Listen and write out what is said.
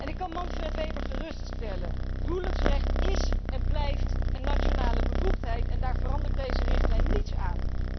Ik kan Manfred Weber geruststellen huwelijksrecht is en blijft een nationale bevoegdheid en daar verandert deze richtlijn niets aan.